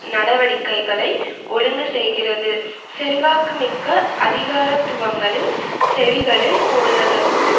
நடவடிக்கைகளை ஒழுங்கு செய்கிறது செல்வாக்குமிக்க அதிகாரத்துவங்களின் செவிகளில் போடுவதற்கும்